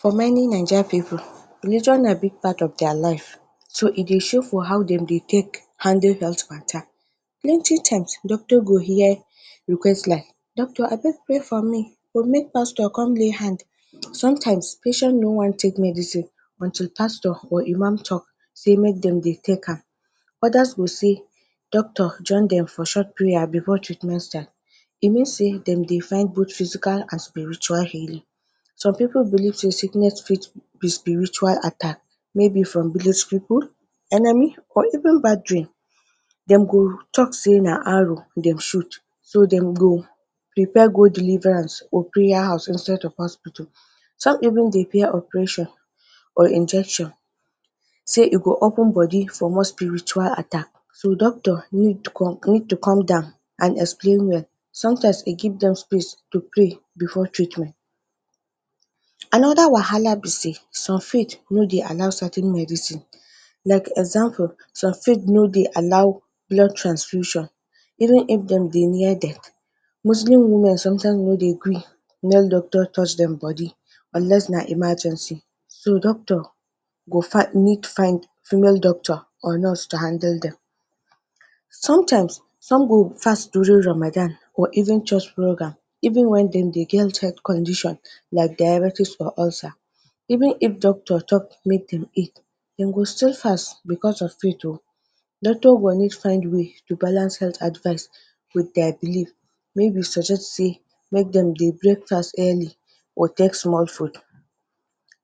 For many Naija pipu, religion na big part of their life. So e dey show for how dem dey take handle God matter. Plenty times doctor go hear request like doctor abeg pray for me to make pastor con lay hands. Sometimes patient no wan take medicine until pastor or Imam talk say make dem dey take am. Others go say, doctor join dem for short prayer before treatment time. You know say dem dey find both physical and spiritual healing. Some people believe say sickness fit be spiritual attack. Maybe for village pipu, enemy or even bad dream. De go talk say na arrow dem shoot, so dem go prepare go deliverance or prayer house instead of hospital. Some even dey fear operation or injection say e go open body for more spiritual attack. So, doctor need to need to come down and explain well. Sometimes e give dem space to pray before treatment. Another wahala be sey, some faith no dey allow certain medicine. Like example, some faith no dey allow blood transfusion even if de dey near death. Muslim women sometimes no dey gree male doctor touch dem body unless na emergency. So, doctor go find need find female doctor of nurse to handle dem. Sometimes, some go fast during Ramadan or even church program even when dem dey get health condition like diabetes] or ulcer. Even if doctor talk make dem eat, de go still fast because of faith oh. Doctor go always find way to balance health advice with their belief wey go suggest sey make dem dey break fast early or take small food.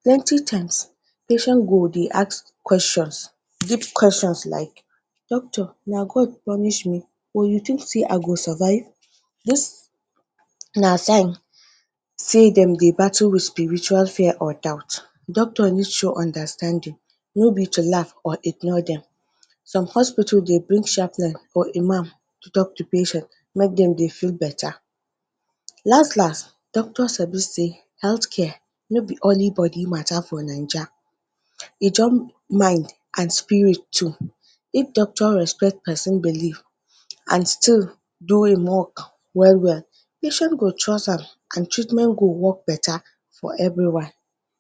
Plenty times, patient go dey ask questions. Big questions like, doctor na God punish me or you think sey i go survive? Dis na sign sey dem dey battle with spiritual fear or doubt. Doctor no show understanding, no be to laugh or ignore dem. Some hospital dey bring chaplain or Imam to talk to patient make dem dey feel better. Last last doctor sabi sey health care no be only body matter for Naija. um E join mind and spirit too. If doctor respect pesin belief and still do e work well well, patient go trust am and treatment go work better for everyone.